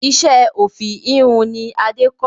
Iṣẹ́ òfì ìhun ni Adé kọ́